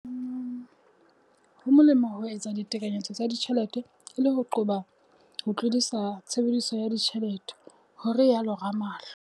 Ho molemo ho etsa ditekanyetso tsa ditjhelete e le ho qoba ho tlodisa tshebediso ya tjhelete, ho itsalo Ramalho.